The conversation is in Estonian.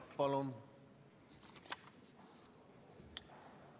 Palun!